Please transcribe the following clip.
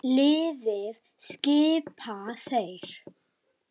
Liðið skipa þeir